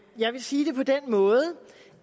jeg vil sige det på den måde